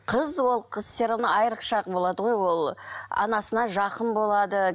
қыз ол қыз все равно айрықша болады ғой ол анасына жақын болады